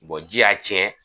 ji y'a tiɲɛ